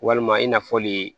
Walima i n'a fɔli